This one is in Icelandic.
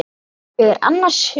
Ég er annars hugar.